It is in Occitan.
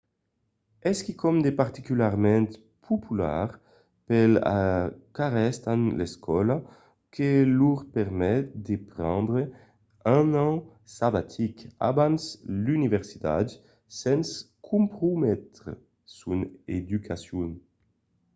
es quicòm de particularament popular pels qu'arrèstan l'escòla que lor permet de prendre un an sabatic abans l’universitat sens comprometre son educacion